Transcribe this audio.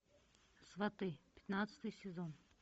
сваты пятнадцатый сезон